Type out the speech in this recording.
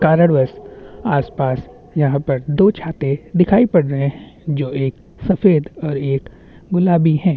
और दो लड़को ने ओ हाथ में ले रखा है इनका प्रयोजन जमीन को खोदना है।